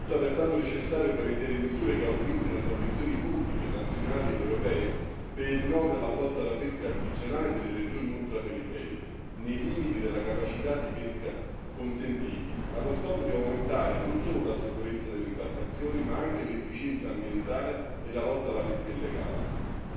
Risulta pertanto necessario prevedere misure che autorizzino sovvenzioni pubbliche, nazionali ed europee per il rinnovo della flotta da pesca artigianale delle regioni ultraperiferiche, nei limiti della capacità di pesca consentiti, allo scopo di aumentare non solo la sicurezza delle imbarcazioni, ma anche l'efficienza ambientale e la lotta alla pesca illegale.